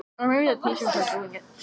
Þeir gengu sömu leið til baka.